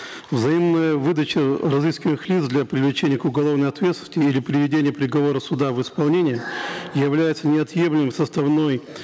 взаимная выдача э разыскиваемых лиц для привлечения к уголовной ответственности или приведения приговора суда в исполнение является неотъемлемым составным